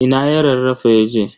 Ina ya rarrafa yaje?